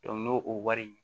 n'o o wari